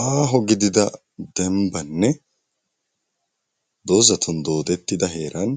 Aaho gidida dembbanne doozatun doodettida heeran